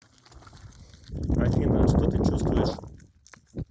афина что ты чувствуешь